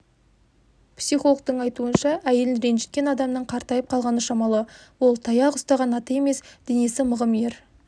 психологтың айтуынша әйелін ренжіткен адамның қартайып қалғаны шамалы ол таяқ ұстаған ата емес денесі мығым ер